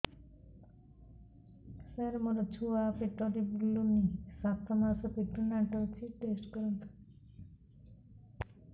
ସାର ମୋର ଛୁଆ ପେଟରେ ବୁଲୁନି ସାତ ମାସ ପ୍ରେଗନାଂଟ ଅଛି ଟେଷ୍ଟ କରନ୍ତୁ